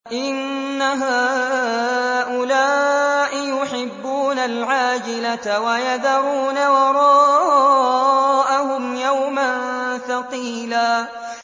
إِنَّ هَٰؤُلَاءِ يُحِبُّونَ الْعَاجِلَةَ وَيَذَرُونَ وَرَاءَهُمْ يَوْمًا ثَقِيلًا